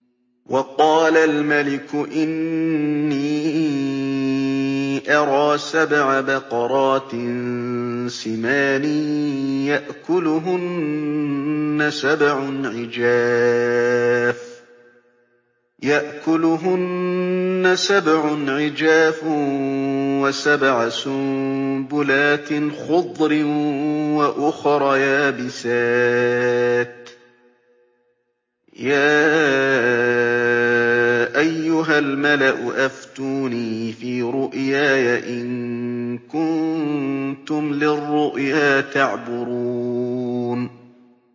وَقَالَ الْمَلِكُ إِنِّي أَرَىٰ سَبْعَ بَقَرَاتٍ سِمَانٍ يَأْكُلُهُنَّ سَبْعٌ عِجَافٌ وَسَبْعَ سُنبُلَاتٍ خُضْرٍ وَأُخَرَ يَابِسَاتٍ ۖ يَا أَيُّهَا الْمَلَأُ أَفْتُونِي فِي رُؤْيَايَ إِن كُنتُمْ لِلرُّؤْيَا تَعْبُرُونَ